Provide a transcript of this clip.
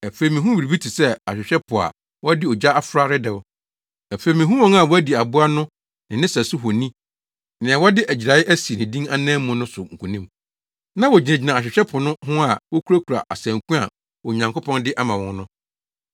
Afei mihuu biribi te sɛ ahwehwɛ po a wɔde ogya afra redɛw. Afei mihuu wɔn a wɔadi aboa no ne ne sɛso honi ne nea wɔde agyirae asi ne din anan mu no so nkonim. Na wogyinagyina ahwehwɛ po no ho a wokurakura asanku a Onyankopɔn de ama wɔn no.